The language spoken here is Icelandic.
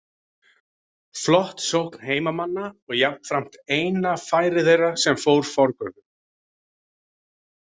Flott sókn heimamanna og jafnframt eina færi þeirra sem fór forgörðum.